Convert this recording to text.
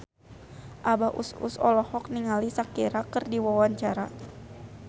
Abah Us Us olohok ningali Shakira keur diwawancara